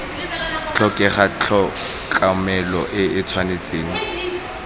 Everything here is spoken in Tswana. tlhokega tlhokomelo e tshwanetse go